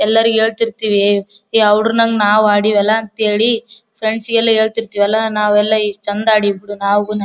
ಎಲ್ಲರಿಗು ಹೇಳತ್ತಿರ್ತಿವಿ ಯ ಹುಡುಗ್ರನಂಗ್ ನಾವ್ ಆಡಿವೆಲ್ಲಾ ಅಂತ ಹೇಳಿ ಫ್ರೆಂಡ್ಸ್ ಗೆಲ್ಲಾ ಹೇಳತಿರ್ತ್ತೀವಲ್ಲಾ ನಾವೆಲ್ಲಾ ಎಷ್ಟ ಚಂದ್ ಆಡಿ ಬಿಡಿ ನಾವುನು.